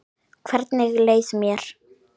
Hvernig leið mér?